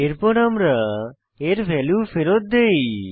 এরপর আমরা এর ভ্যালু ফেরৎ দেই